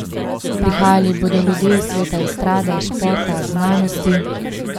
Prihajali bodo ljudje iz sveta estrade, športa, znanosti ...